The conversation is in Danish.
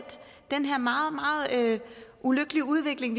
den her meget meget ulykkelige udvikling